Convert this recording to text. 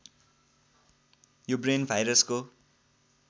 यो ब्रेन भाइरसको